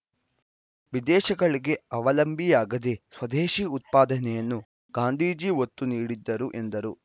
ವಿದೇಶಗಳಿಗೆ ಅವಲಂಬಿಯಾಗದೆ ಸ್ವದೇಶಿ ಉತ್ಪಾದನೆಯನ್ನು ಗಾಂಧೀಜಿ ಒತ್ತು ನೀಡಿದ್ದರು ಎಂದರು